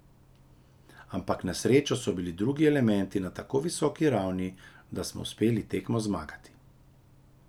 Ampak na srečo so bili drugi elementi na tako visoki ravni, da smo uspeli tekmo zmagati.